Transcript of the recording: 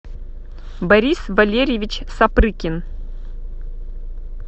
борис валерьевич сапрыкин